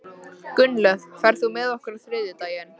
Gunnlöð, ferð þú með okkur á þriðjudaginn?